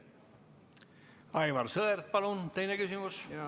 Aivar Sõerd, palun teine küsimus!